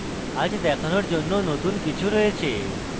আজ দেখানোর জন্য নতুন কিছু রয়েছে